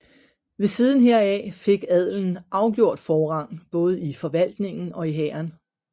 Ved siden heraf fik adelen afgjort forrang både i forvaltningen og i hæren